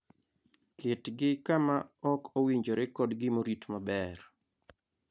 Ketgi kama ok owinjore kodgimorit maber.